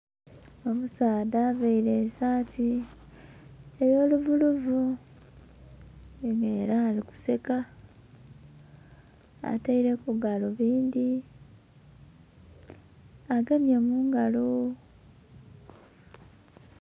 Omusaadha avaire esaati eyo luvuluvu nga era ali kuseka, ataireku galubindhi agemye mungalo...